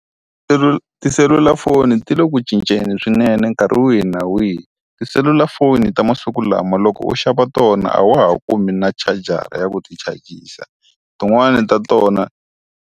Tiselulafoni ti le ku cinceni swinene nkarhi wihi na wihi. Tiselulafoni ta masiku lama loko u xava tona a wa ha kumi na chagara ya ku ti chagisasa. Tin'wani ta tona.